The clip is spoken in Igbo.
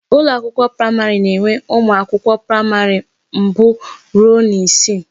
Ụlọ akwụkwọ praịmarị na enwe ụmụ akwụkwọ praịmarị mbụ rụọ na isii